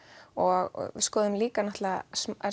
og skoðum líka náttúrulega